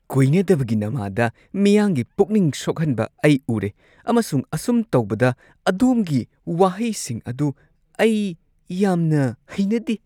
ꯀꯣꯏꯅꯗꯕꯒꯤ ꯅꯃꯥꯗ ꯃꯤꯌꯥꯝꯒꯤ ꯄꯨꯛꯅꯤꯡ ꯁꯣꯛꯍꯟꯕ ꯑꯩ ꯎꯔꯦ ꯑꯃꯁꯨꯡ ꯑꯁꯨꯝ ꯇꯧꯕꯗ, ꯑꯗꯣꯝꯒꯤ ꯋꯥꯍꯩꯁꯤꯡ ꯑꯗꯨ ꯑꯩ ꯌꯥꯝꯅ ꯍꯩꯅꯗꯦ ꯫